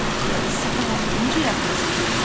Nə axı, sapı hər dəfə necə yadında saxlayasan?